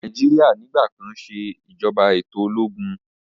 Nàìjíríà nigbakan se ìjọba eto ológun.